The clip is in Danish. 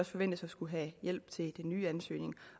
forventes at skulle have hjælp til de nye ansøgninger